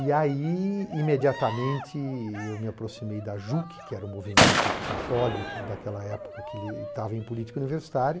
E aí, imediatamente, eu me aproximei da JUC, que era o movimento católico daquela época que ele estava em política universitária,